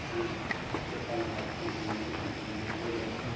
мен тек қана алпыс бесті ойламаймын мен мәңгілікті ойлаймын